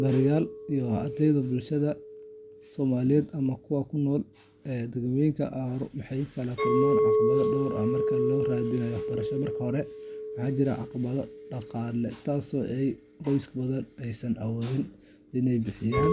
Barayaal iyo ardayda bulshada Soomaaliyeed ama kuwa ku nool deegaanada aan horumarsanayn waxay la kulmaan caqabadaha dhowr ah marka ay raadinayaan waxbarasho. Marka hore, waxaa jira caqabado dhaqaale, taasoo ah in qoysas badan aysan awoodin inay bixiyaan